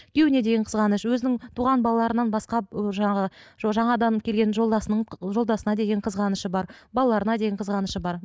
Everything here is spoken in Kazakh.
күйеуіне деген қызғаныш өзінің туған балаларынан басқа жаңағы жаңадан келген жолдасының жолдасына деген қызғанышы бар балаларына деген қызғанышы бар